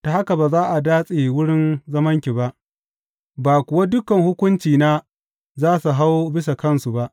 Ta haka ba za a datse wurin zamanki ba, ba kuwa dukan hukuncena za su hau bisa kansu ba.